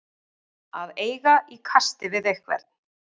Að eiga í kasti við einhvern